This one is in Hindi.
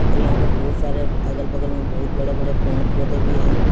और यहां पर बहुत सारे अगल बगल में बहुत बड़े बड़े पेड़ पौधे भी हैं।